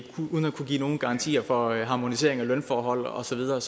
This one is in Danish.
uden at kunne give nogen garantier for harmonisering af lønforhold og så videre er